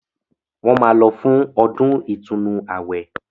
Wọ́n máa lọ fún “ ọdún ìtúnu ààwẹ̀”